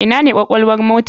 Ina ne kwakwalwar mota?